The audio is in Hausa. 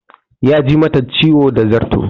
Ya ji mata ciwo da zarto